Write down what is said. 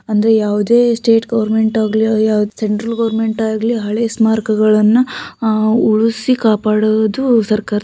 ಅಂದ್ರೆ ಯಾವ್ದೆ state government ಆಗ್ಲಿ ಸೆಂಟ್ರಲ್ ಗೋವರ್ನಮೆಂಟ್ ಆಗ್ಲಿ ಹಳೆ ಸ್ಮಾರಕಗಳನ್ನ ಉಳಿಸಿ ಕಾಪಾಡುವುದು ಸರ್ಕಾರದ --